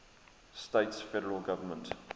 states federal government